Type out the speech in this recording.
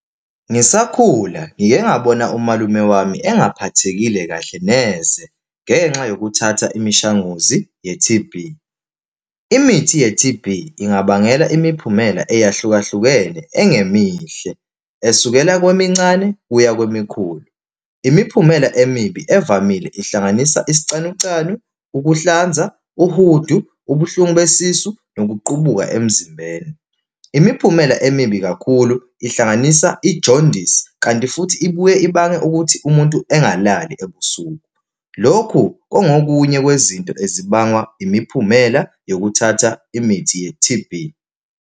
Ngisakhula ngike ngawubona umalume wami engaphathekile kahle neze, ngenxa yokuthatha imishanguzi ye-T_B. Imithi ye-T_B ingabangela imiphumela eyahlukahlukene engemihle, esukela kwemincane kuya kwemikhulu. Imiphumela emibi evamile ihlanganisa isicanucanu, ukuhlanza uhudu, ubuhlungu besisu, nokuqubuka emzimbeni. Imiphumela emibi kakhulu ihlanganisa ijondisi, kanti futhi ibuye ibange ukuthi umuntu engalali ebusuku. Lokhu kungokunye kwezinto ezibangwa imiphumela yokuthatha imithi ye-T_B.